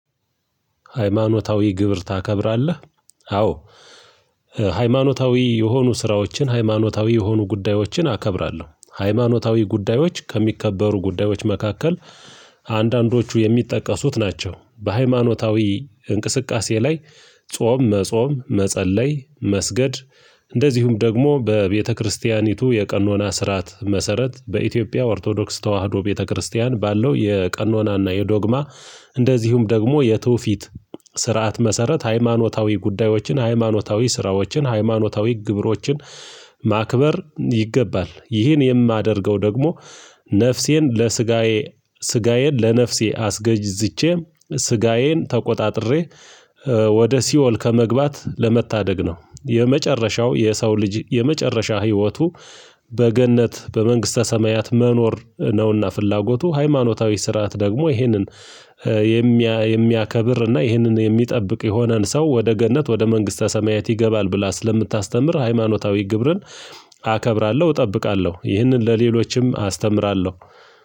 ሃይማኖታዊ ክብር ታከብራለህ? አዎ። ሃይማኖታዊ የሆኑ ስራዎችን ሃይማኖታዊ የሆኑ ጉዳዮችን አከብራለሁ ሃይማኖታዊ ጉዳዮች ከሚከበሩ ጉዳዮች መካከል አንዳንዶቹ የሚጠቀሱት ናቸው። በሃይማኖታዊ እንቅስቃሴ ላይ ጾም መጾም መጸለይ መስገድ። እንደዚሁም ደግሞ በቤተክርስቲያኒቱ የቀኖና ስርዓት መሰረት በኢትዮጵያ ኦርቶዶክስ ተዋህዶ ቤተክርስቲያን ባለው የቀኖናና የዶግማ። እንደዚሁም ደግሞ የትውፊት ስርዓት መሰረት ሃይማኖታዊ ጉዳዮችን ሃይማኖታዊ ስራዎችን ሃይማኖታዊ ግብሮችን። ማክበር ይገባል ይህን የማደርገው ደግሞ። ነፍሴን ለስጋዬ ስጋዬን ለነፍሴ አስገዥዝቼ ስጋዬን ተቆጣጥሬ ወደ ሲኦል ከመግባት ለመታደግ ነው። የመጨረሻው የሰው ልጅ የመጨረሻ ህይወቱ በገነት በመንግስተ ሰማያት መኖር ነውና። ፍላጎቱ ሃይማኖታዊ ስርዓት ደግሞ ይህንን። የሚያከብር እና ይህንን የሚጠብቅ የሆነን ሰው ወደ ገነት ወደ መንግስተ ሰማያት ይገባል ብላ ስለምታስተምር ሃይማኖታዊ ግብርን። አከብራለሁ እጠብቃለሁ ይህንን ለሌሎችም አስተምራለሁ።